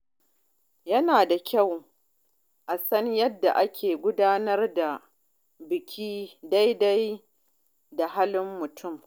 Yana da kyau a san yadda ake gudanar da biki daidai da halin mutum.